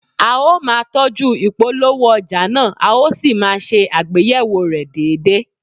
A ó máa tọ́jú ìpolówó ọjà náà, a ó sì máa ṣe àgbéyẹ̀wò rẹ̀ déédéé